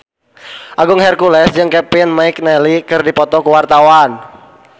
Agung Hercules jeung Kevin McNally keur dipoto ku wartawan